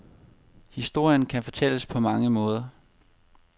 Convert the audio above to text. Historien kan fortælles på mange måder.